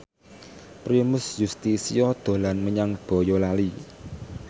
Primus Yustisio dolan menyang Boyolali